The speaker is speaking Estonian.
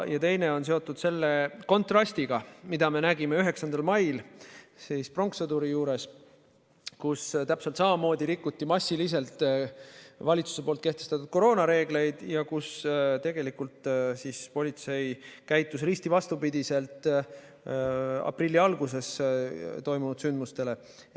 Ja teine taust on seotud selle kontrastiga, mida me nägime 9. mail pronkssõduri juures, kus täpselt samamoodi rikuti massiliselt valitsuse kehtestatud koroonareegleid ja kus tegelikult politsei käitus risti vastupidi aprilli alguses toimunud sündmustega.